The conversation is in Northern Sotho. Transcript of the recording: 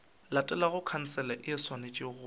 latelago khansele e swanetše go